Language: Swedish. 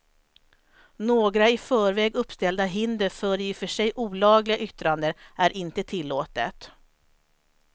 Några i förväg uppställda hinder för i och för sig olagliga yttranden är inte tillåtet.